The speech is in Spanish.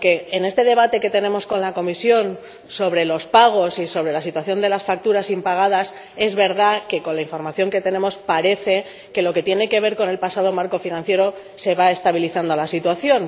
Porque, en este debate que tenemos con la Comisión sobre los pagos y sobre la situación de las facturas impagadas, es verdad que, con la información que tenemos, parece que en lo que tiene que ver con el pasado marco financiero se va estabilizando la situación.